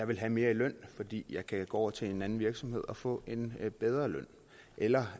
vil have mere i løn fordi kan gå over til en anden virksomhed og få en bedre løn eller